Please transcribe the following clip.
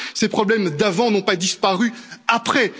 Parce que ces problèmes d'avant n'ont pas disparu